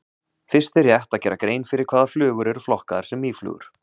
Fyrst er rétt að gera grein fyrir hvaða flugur eru flokkaðar sem mýflugur.